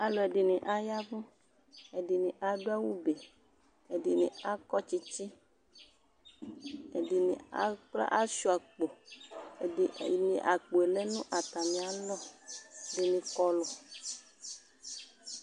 Alʋɛdɩnɩ aya ɛvʋ Ɛdɩnɩ adʋ awʋbe Ɛdɩnɩ akɔtsɩtsɩ, ɛdɩnɩ akpla asʋɩa akpo Ɛdɩ ɛdɩnɩ akpo yɛ lɛ nʋ atamɩalɔ Ɛdɩnɩ kɔlʋ